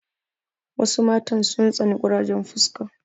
Wasu matan sun tsani ƙurajen fuska.